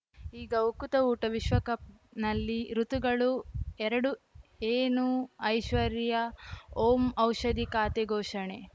ಈಗ ಉಕುತ ಊಟ ವಿಶ್ವಕಪ್‌ನಲ್ಲಿ ಋತುಗಳು ಎರಡು ಏನು ಐಶ್ವರ್ಯಾ ಓಂ ಔಷಧಿ ಖಾತೆ ಘೋಷಣೆ